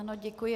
Ano, děkuji.